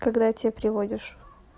когда те приводишь